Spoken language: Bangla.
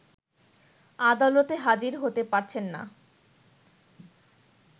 আদালতে হাজির হতে পারছেন না